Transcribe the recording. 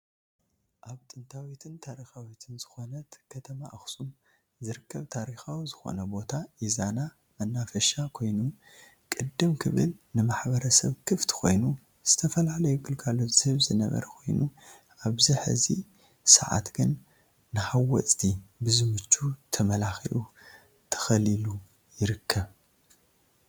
ኣብ ጥንታዊትን ታሪኻዊትን ዝኾነት ከተማ ኣክሱም ዝርከብ ታሪኻዊ ዝኾነ ቦታ ኢዛና መናፈሻ ኮይኑ ቅድም ክብል ን ማሕበረሰብ ክፍቲ ኮይኑ ዝተፈላለዩ ግልጋሎት ዝህብ ዝነበረ ኮይኑ ኣብዚ ሕዚ ሰዓት ግን ንሃወፅቲ ብዝምቹ ተመላኺዑ ተኸሊሉ ይርከብ።